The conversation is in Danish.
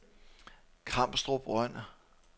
Kamstrup Røn